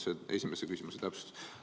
See on esimese küsimuse täpsustus.